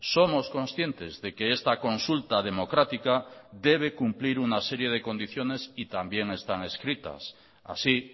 somos conscientes de que esta consulta democrática debe cumplir una serie de condiciones y también están escritas así